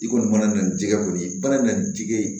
I kɔni mana na nin jɛgɛ kɔni ye i mana na nin jɛgɛ ye